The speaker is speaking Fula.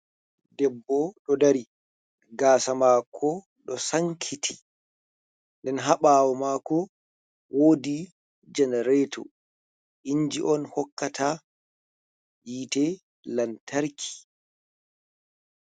Debbo ɗo dari, gasa maako ɗo sankiti, nden ha ɓawo maako wodi jenarato inji on hokkata yiite lantarki.